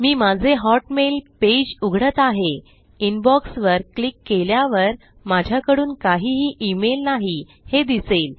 मी माझे Hotmail page उघडत आहे इनबॉक्स वर क्लिक केल्यावर माझ्याकडून काहीही ईमेल नाही हे दिसेल